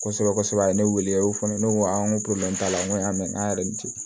Kosɛbɛ kosɛbɛ a ye ne wele o y'o fɔ ne ko a n ko t'a la n ko y'a mɛn k'an yɛrɛ tɛ